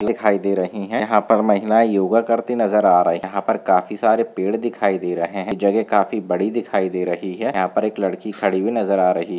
दिखाई दे रही है यहा पर महिलाए योगा करती हुई नजर आ रही है यहा पर काफी सारे पेड़ दिखाई दे रहे है जगह काफी बड़ी दिखाई दे रही है यहा पे एक लड़की खड़ी हुई नजर आ रही है।